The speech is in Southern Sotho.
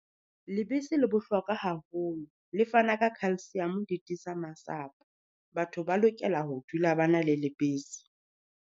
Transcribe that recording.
Lebese le bohlokwa haholo, le fana ka calcium di tiisa masapo. Batho ba lokela ho dula ba na le lebese.